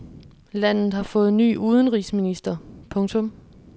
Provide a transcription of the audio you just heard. Landet har fået ny udenrigsminister. punktum